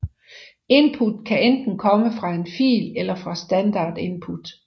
Input kan enten komme fra en fil eller fra standard input